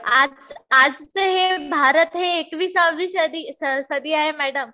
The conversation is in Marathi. आज आजच हे भारत हे एकविसावी सदी आहे मॅडम.